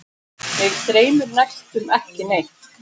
Mig dreymir næstum ekki neitt.